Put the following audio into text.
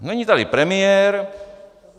Není tady premiér.